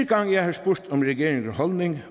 gang jeg har spurgt om regeringens holdning